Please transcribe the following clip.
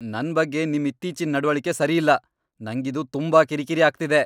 ನನ್ ಬಗ್ಗೆ ನಿಮ್ ಇತ್ತೀಚಿನ್ ನಡವಳಿಕೆ ಸರಿ ಇಲ್ಲ. ನಂಗಿದು ತುಂಬಾ ಕಿರಿಕಿರಿ ಆಗ್ತಿದೆ.